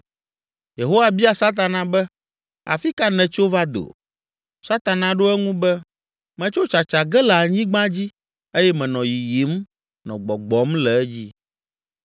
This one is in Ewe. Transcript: Yehowa bia Satana be, “Afi ka nètso va do?” Satana ɖo eŋu be, “Metso tsatsa ge le anyigba dzi eye menɔ yiyim, nɔ gbɔgbɔm le edzi.”